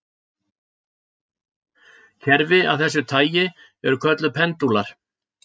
Kerfi af þessu tagi eru kölluð pendúlar.